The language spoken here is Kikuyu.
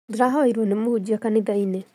Ndĩrahoyeirwo nĩ mũhunjia kanithainĩ